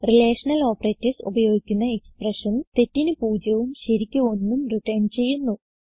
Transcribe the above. relational operators ഉപയോഗിക്കുന്ന expressions തെറ്റിന് 0 ഉം ശരിയ്ക്ക് 1 ഉം റിട്ടർൻ ചെയ്യുന്നു